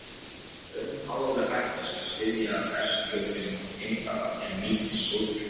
Önnur alvarleg hætta sem steðjar að berskjölduðum geimfara er mikill sólbruni.